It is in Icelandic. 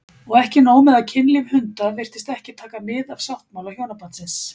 Og ekki nóg með að kynlíf hunda virtist ekki taka mið af sáttmála hjónabandsins